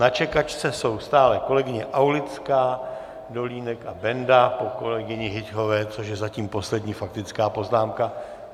Na čekačce jsou stále kolegyně Aulická, Dolínek a Benda po kolegyni Hyťhové, což je zatím poslední faktická poznámka.